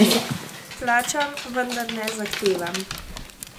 Plačam, vendar ne zahtevam.